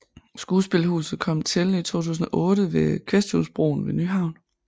Skuespilhuset kom til i 2008 ved Kvæsthusbroen ved Nyhavn